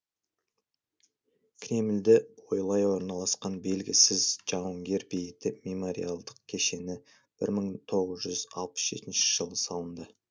кремльді бойлай орналасқан белгісіз жауынгер бейіті мемориалдық кешені бір мың тоғыз жүз алпыс жетінші жылы салынды